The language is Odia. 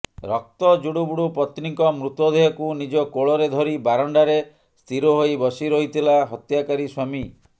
ରକ୍ତ ଜୁଡୁବୁଡୁ ପତ୍ନୀଙ୍କ ମୃତଦେହକୁ ନିଜ କୋଳରେ ଧରି ବାରଣ୍ଡାରେ ସ୍ଥିର ହୋଇ ବସି ରହିଥିଲା ହତ୍ୟାକାରୀ ସ୍ୱାମୀ